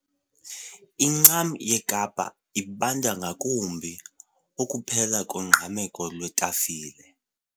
Incam yeKapa ibanda ngakumbi. ukuphela kongqameko lwetafile